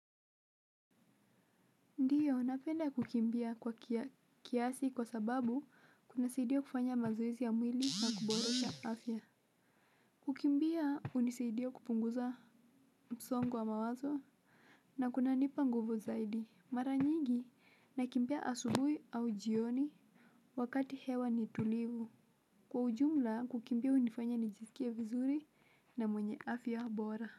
Ndio, napenda kukimbia kwa kia kiasi kwa sababu kunasaidia kufanya mazoezi ya mwili na kuborosha afya. Kukimbia, hunisaidia kupunguza msongo wa mawazo na kunanipa nguvu zaidi. Maranyigi, nakimbia asubuhi au jioni wakati hewa ni tulivu. Kwa ujumla, kukimbia hunifanya nijisikie vizuri na mwenye afya bora.